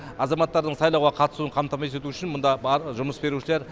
азаматтардың сайлауға қатысуын қамтамасыз ету үшін мұнда жұмыс берушілер